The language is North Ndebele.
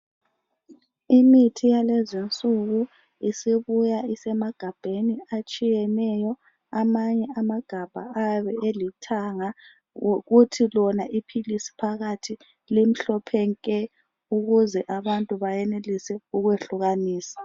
Imithi yalezinsuku isibuya isemagabheni atshiyeneyo amanye amagabha ayabe elithanga kuthi lona iphilisi phakathi liyabe limhlophe nke ukuze abantu beyenelise ukwehlukanisa